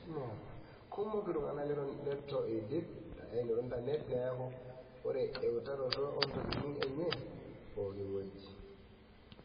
Kumok iltunganak leito eidip aanoto intanet, neeku ore eutaroto oontokitin enye pookiweji.